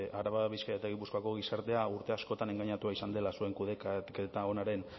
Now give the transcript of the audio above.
araba bizkaia eta gipuzkoako gizartea urte askotan engainatua izan dela zuen kudeaketa onaren